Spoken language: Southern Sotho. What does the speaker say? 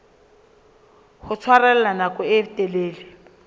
ho tshwarella nako e telele